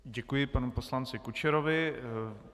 Děkuji panu poslanci Kučerovi.